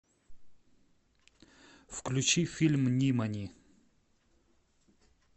включи фильм нимани